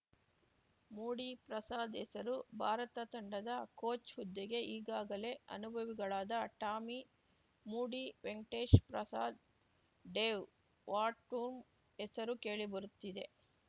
ಮೂಡಿ ಪ್ರಸಾದ್‌ ಹೆಸರು ಭಾರತ ತಂಡದ ಕೋಚ್‌ ಹುದ್ದೆಗೆ ಈಗಾಗಲೇ ಅನುಭವಿಗಳಾದ Tommy Moody Venkatesh Prasad Dave Whatmore ಹೆಸರು ಕೇಳಿ ಬರುತ್ತಿದೆ